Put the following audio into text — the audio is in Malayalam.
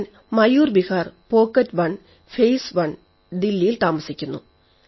ഞാൻ മയൂർ വിഹാർ പോക്കറ്റ് 1 ഫേസ് 1 ദില്ലിയിൽ താമസിക്കുന്നു